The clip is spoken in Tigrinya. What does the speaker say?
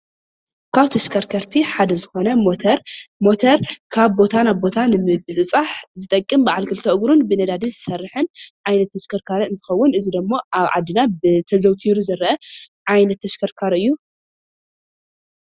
ካብ ተሽከርከርቲ ሓደ ዝኮነ ሞተር ሞተር ካብ ቦታ ናብ ቦታ ንምብፅፃሕ ዝጠቅም በዓል ክልተ እግሩን ብነዳዲ ዝሰርሕን ዓይነት ተሽከርካሪ እንትከውን፣ እዚ ድማ ኣብ ዓድና ተዘውቲሩ ዝረአ ዓይነት ተሽከርካሪ እዩ፡፡